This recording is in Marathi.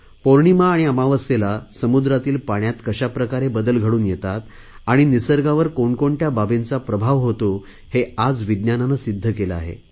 पौर्णिमा आणि अमावस्येला समुद्रातील पाण्यात कशाप्रकारे बदल घडून येतात आणि निसर्गावर कोणकोणत्या बाबींचा प्रभाव होतो हे आज विज्ञानाने सिध्द केले आहे